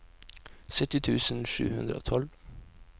sytti tusen sju hundre og tolv